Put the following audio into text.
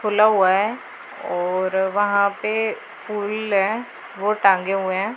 खुला हुआ है और वहां पे फूल है वो टांगे हुए हैं।